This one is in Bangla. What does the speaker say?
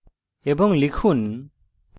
এবং লিখুন